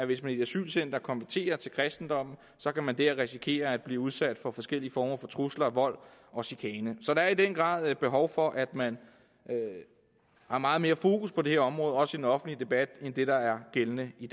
hvis man i et asylcenter konverterer til kristendommen kan man der risikere at blive udsat for forskellige former for trusler vold og chikane så der er i den grad behov for at man har meget mere fokus på det her område også i den offentlige debat end det der er gældende i